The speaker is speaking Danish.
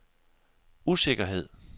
usikkerhed